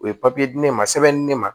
O ye di ne ma sɛbɛnni di ne ma